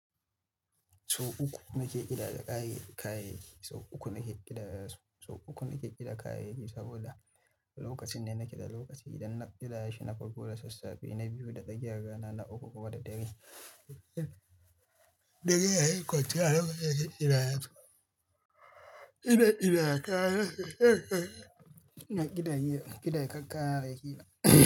Sau uku nake kidaya kayayyaki, sau uku nake kidaya, sau uku nake kidaya kayayyaki saboda lokacin ne nake da lokaci. Idan na kidaya shi, na farko da sassafe na biyu, da tsakiyan rana na uku kuma da dare. Dare yayi kwanciya, lokacin kidaya su. Ina kidaya kayayyaki. Ina kidaya kayayyaki.